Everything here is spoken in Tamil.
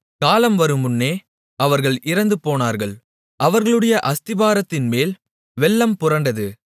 காலம் வருமுன்னே அவர்கள் இறந்துபோனார்கள் அவர்களுடைய அஸ்திபாரத்தின்மேல் வெள்ளம் புரண்டது